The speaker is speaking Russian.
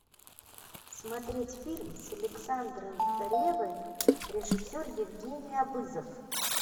смотреть фильм с александром ревой режиссер евгений абызов